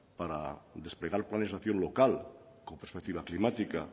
para desplegar cuál es la acción local con perspectiva climática